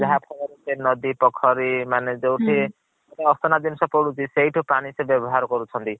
ଯାହା ଫଳ ରେ ସେ ନଦୀ ପୋଖରୀ ମାନେ ଜୌଥୀ ଅସନା ଜିନିସ ପଡୁଛି ସେଇଠୁ ପାଣି ସେ ବ୍ୟବାହାର କରୁଛନ୍ତି।